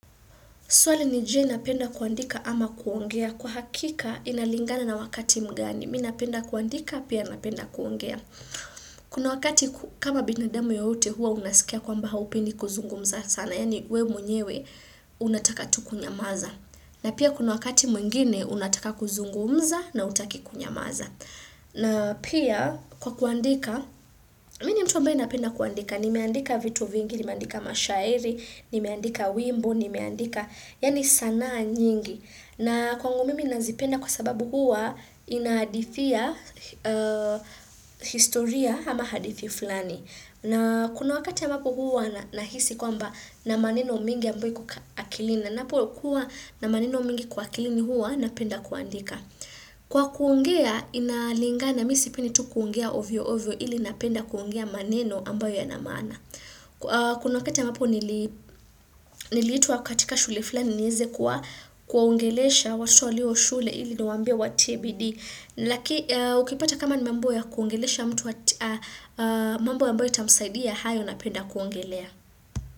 Swali ni je, napenda kuandika ama kuongea? Kwa hakika inalingana na wakati mgani. Mimi napenda kuandika, pia napenda kuongea. Kuna wakati kama binadamu yote huwa unasikia kwamba haupendi kuzungumza sana. Yaani we mwenyewe, unataka tu kunyamaza. Na pia kuna wakati mwingine, unataka kuzungumza na hautaki kunyamaza. Na pia, kwa kuandika, mmi ni mtu ambaye napenda kuandika. Nimeandika vitu vingi, nimeandika mashairi, nimeandika wimbo, nimeandika. Yaani sanaa nyingi. Na kwangu mimi ninazipenda kwa sababu huwa inadhisia historia ama hadhisi fulani. Na kuna wakati ambapo huwa nahisi kwamba nina maneno mingi ambayo iko akilini. Na ninapo kuwa na maneno mingi kwa akilini huwa napenda kuandika. Kwa kuongea inalinga na mimi sipendi tu kuongea ovyo ovyo ili napenda kuongea maneno ambayo yanamaana. Kuna wakati ambapo niliitwa katika shule fulani niweze kuwa kuwaongelesha waswali wa shule ili niwaambie watie bidhii. Laki ukipata kama ni mambo ya kuongelesha mtu mambo ambayo itamsaidia hayo napenda kuongelea.